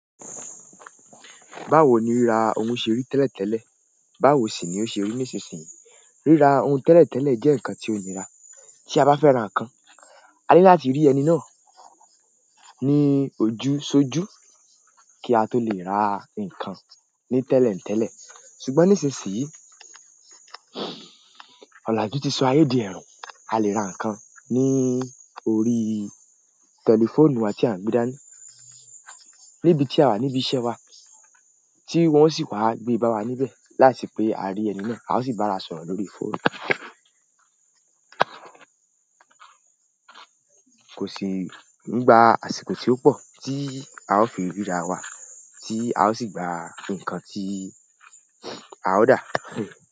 Báwo ni ríra ohun ṣe ri tẹ́lẹ̀ tẹ́lẹ̀, báwo sì ni ó ṣe rí nísinsìnyí? Ríra ohun tẹ́lẹ̀ tẹ́lẹ̀ jẹ́ nǹkan tí ó nira. Tí a bá fẹ́ ra nǹkan, a ní láti rí ẹni náà ní ojúṣọjú kí a tó lè ra nǹkan ní tẹ́lẹ̀ ń tẹ́lẹ̀. Ṣùgbọ́n nísinsìnyí, ọ̀làjú ti so ayé dì ẹroo. A lè ra nǹkan ní orí tẹlifóònù wa ti a n gbe dani níbi tí a wà níbí iṣẹ́ wa tí wọ́n sì waa gbé bá wa níbẹ̀ láisepe á rí ẹni náà, a ó sì bá a sọ̀rọ̀ lórí fóònù. Kò sí nígbà àsìkò tí ó pọ̀ tí a ó fi ríra wa tí a ó sì gba nǹkan tí a ó dà.